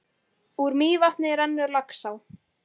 Úr Mývatni rennur Laxá.